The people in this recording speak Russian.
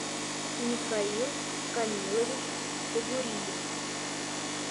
михаил камилович богуриев